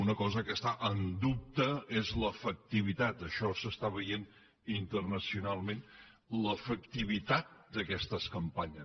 una cosa que està en dubte és l’efectivitat això s’està veient internacional ment d’aquestes campanyes